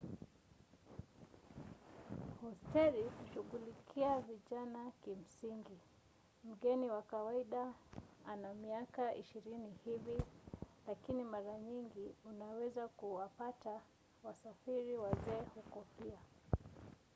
hosteli hushughulikia vijana kimsingi - mgeni wa kawaida ana miaka ishirini hivi - lakini mara nyingi unaweza kuwapata wasafiri wazee huko pia